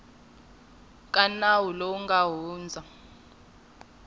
ka nawu lowu nga hundza